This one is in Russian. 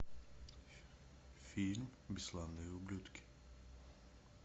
фильм бесславные ублюдки